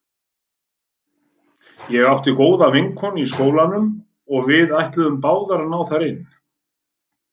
Ég átti góða vinkonu í skólanum og við ætluðum báðar að ná þar inn.